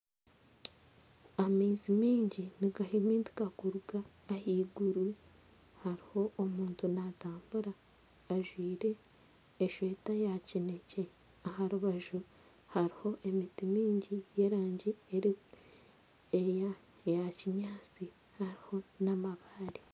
Amaizi mingi nigahimintika kuruga ahaiguru, hariho omuntu naatambura ajwire esweta ya kineekye aha rubaju hariho emiti mingi y'erangi eya kinyaatsi hariho n'amabaare